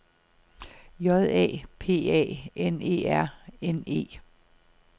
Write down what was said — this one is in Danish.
J A P A N E R N E